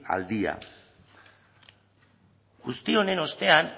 al día honen guztiaren ostean